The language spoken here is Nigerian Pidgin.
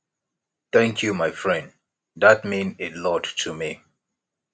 thank you my friend dat mean a lot to me